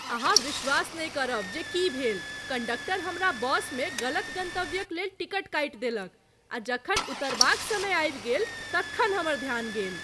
अहाँ विश्वास नहि करब जे की भेल! कंडक्टर हमरा बसमे गलत गंतव्यक लेल टिकट काइट देलक , आ जखन उतरबाक समय आबि गेल, तखन हमर ध्यान गेल !